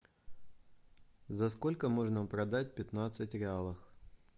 за сколько можно продать пятнадцать реалов